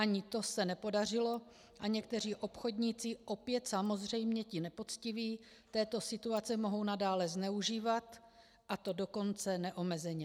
Ani to se nepodařilo a někteří obchodníci, opět samozřejmě ti nepoctiví, této situace mohou nadále zneužívat, a to dokonce neomezeně.